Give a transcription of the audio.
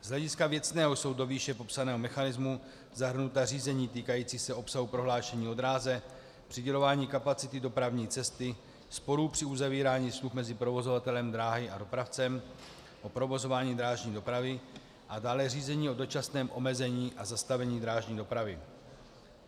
Z hlediska věcného jsou do výše popsaného mechanismu zahrnuta řízení týkající se obsahu prohlášení o dráze, přidělování kapacity dopravní cesty, sporů při uzavírání smluv mezi provozovatelem dráhy a dopravcem o provozování drážní dopravy a dále řízení o dočasném omezení a zastavení drážní dopravy.